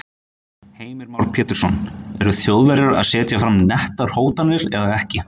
Heimir Már Pétursson: Eru Þjóðverjar að setja fram nettar hótanir eða ekki?